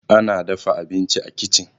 ana dafa abinci a kicin